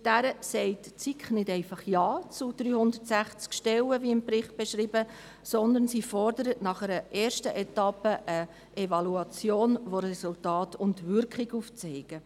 Mit dieser sagt die SiK nicht einfach Ja zu 360 Stellen, wie im Bericht beschrieben, sondern sie fordert nach einer ersten Etappe eine Evaluation, welche Resultate und die Wirkung aufzeigt.